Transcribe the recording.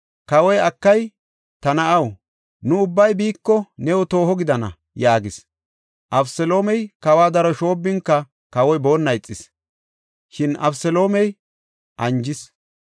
Kawoy, “Akay, ta na7aw! Nu ubbay biiko, new tooho gidana” yaagis. Abeseloomey kawa daro shoobbinka kawoy boonna ixis; shin Abeseloome anjis.